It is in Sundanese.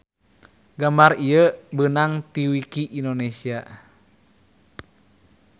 Gambar ieu beunag ti wiki indonesia